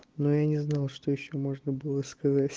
но я не знал что ещё можно было сказать